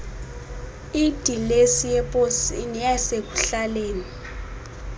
idilesi yeposi neyasekuhlaleni